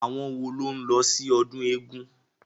Àwọn wo ló ń lọ sí ọdún eégun?